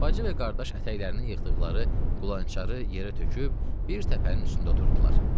Bacı və qardaş ətəklərinin yığdıqları qulançarı yerə töküb, bir təpənin üstündə oturdular.